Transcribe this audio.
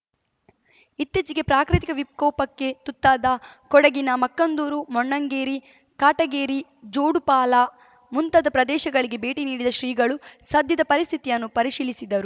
ಇತ್ತೀಚೆಗೆ ಪ್ರಾಕೃತಿಕ ವಿಕೋಪಕ್ಕೆ ತುತ್ತಾದ ಕೊಡಗಿನ ಮಕ್ಕಂದೂರು ಮೊಣ್ಣಂಗೇರಿ ಕಾಟಗೇರಿ ಜೋಡುಪಾಲ ಮುಂತಾದ ಪ್ರದೇಶಗಳಿಗೆ ಭೇಟಿ ನೀಡಿದ ಶ್ರೀಗಳು ಸದ್ಯದ ಪರಿಸ್ಥಿತಿಯನ್ನು ಪರಿಶೀಲಿಸಿದರು